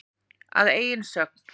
Að eigin sögn.